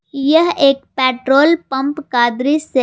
यह एक petrol pump का दृश्य--